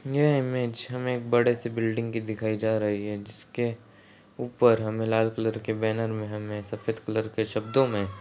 ये इमेज हमे एक बड़ी सी बिल्डिंग की दिखाई जा रही है जिसके ऊपर हमे लाल कलर की बैनर मे हमे सफेद कलर के शब्दों मे --